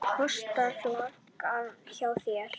Hvað kostar flaskan hjá þér?